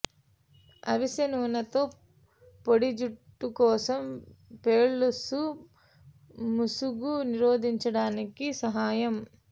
అవిసె నూనెతో పొడి జుట్టు కోసం పెళుసు ముసుగు నిరోధించడానికి సహాయం